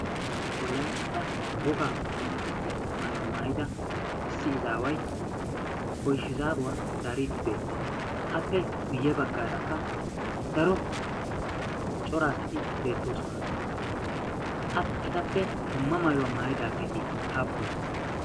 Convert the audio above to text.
Wolaytta wogaa qonccissiya maayuwaa maayida issi izaaway oyshizaaruwaa zaariiddi beettees. appe guyye baggaarakka daro coraasati beettoosona. etappe dumma maayuwaa maayidaageeti haappune?